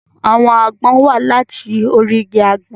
Àwọn àgbọn wá láti orí igi àgbọn.